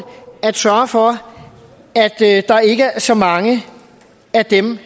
at sørge for at der ikke er så mange af dem